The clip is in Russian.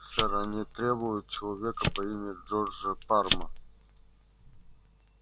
сэр они требуют человека по имени джорджа парма